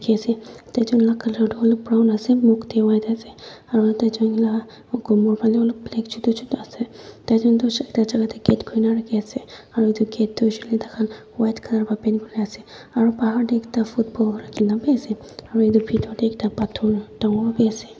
ase tai jont laga colour hoile brown colour ase muut te white ase aru tai jont laga gome fale olop black chotu chotu ase taijont ekta jagah te ket kori kina rakhi ase aru etu gate tu hoise le tar khan white colour para paint kori ase aru bahar te ekta football rakhi kina bhi ase aru etu bethor te ekta pathor dagur bhi ase.